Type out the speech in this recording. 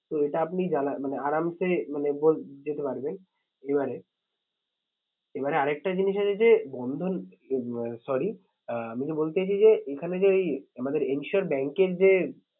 তো এটা আপনি মানে মানে যেতে পারবেন। এবারে এবারে আর একটা জিনিস আছে যে বন্ধন উম আহ sorry আহ আমি যে বলতে চাইছি যে এখানে যে ওই আমাদের insure bank এর যে